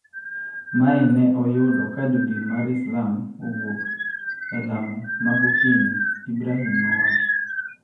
Mae ne oyudo ka Jo Din mar Islam owuok e lamo ma gokinyi, Ibrahim nowacho